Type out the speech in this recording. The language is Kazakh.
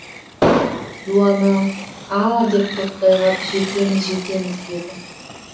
дуана а деп тоқтай қап жетеміз жетеміз деді